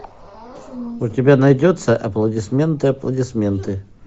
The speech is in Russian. у тебя найдется аплодисменты аплодисменты